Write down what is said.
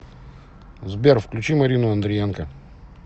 сбер включи марину андриенко